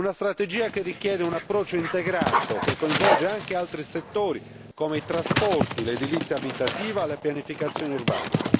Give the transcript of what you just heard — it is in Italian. Una strategia che richiede un approccio integrato, che coinvolge anche altri settori come i trasporti, l'edilizia abitativa, la pianificazione urbana.